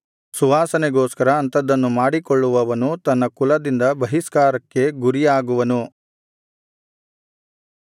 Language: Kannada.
ಸುವಾಸನೆಗೋಸ್ಕರ ಅಂಥದನ್ನು ಮಾಡಿಕೊಳ್ಳುವವನು ತನ್ನ ಕುಲದಿಂದ ಬಹಿಷ್ಕಾರಕ್ಕೆ ಗುರಿಯಾಗುವನು